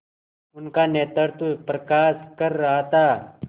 उनका नेतृत्व प्रकाश कर रहा था